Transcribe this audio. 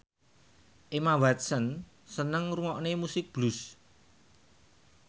Emma Watson seneng ngrungokne musik blues